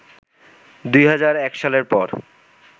২০০১ সালের পর